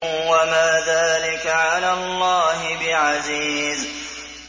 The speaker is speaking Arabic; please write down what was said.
وَمَا ذَٰلِكَ عَلَى اللَّهِ بِعَزِيزٍ